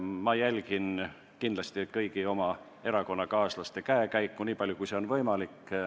Ma jälgin kõigi oma erakonnakaaslaste käekäiku, niipalju kui see on võimalik.